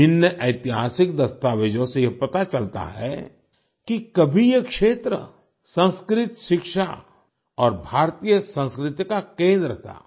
विभिन्न ऐतिहासिक दस्तावेजों से यह पता चलता है कि कभी ये क्षेत्र संस्कृत शिक्षा और भारतीय संस्कृति का केंद्र था